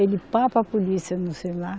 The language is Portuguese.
Ele pá para a polícia, no celular